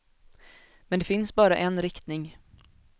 Men det finns bara en riktning.